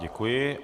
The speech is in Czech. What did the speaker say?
Děkuji.